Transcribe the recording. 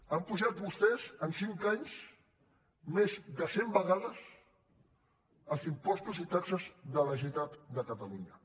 han apujat vostès en cinc anys més de cent vegades els impostos i taxes de la generalitat de catalunya